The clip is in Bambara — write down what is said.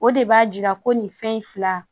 O de b'a jira ko nin fɛn in fila